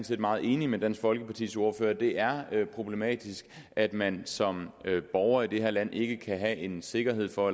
set meget enig med dansk folkepartis ordfører det er problematisk at man som borger i det her land ikke kan have en sikkerhed for